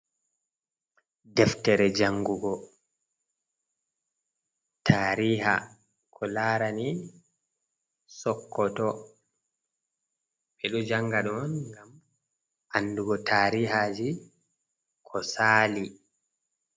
Deftere jangugo tariha ko larani sokoto, ɓeɗo janga ɗon gam andugo tarihaji ko saali.